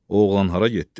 O oğlan hara getdi?